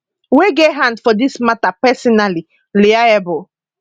wey get hand for dis mata personally liable